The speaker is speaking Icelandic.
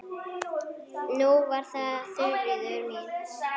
Nú var það Þuríður mín.